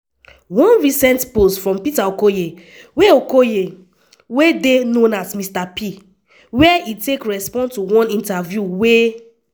one recent post from peter okoye wey okoye wey dey known as mr p wia e take respond to one interview wey